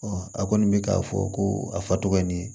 a kɔni bɛ k'a fɔ ko a fa tɔgɔ ye nin ye